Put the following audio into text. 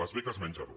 les beques menjador